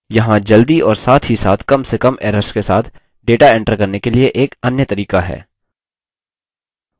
यहाँ जल्दी और साथ ही साथ कम से कम errors के साथ data enter करने के लिए एक अन्य तरीका है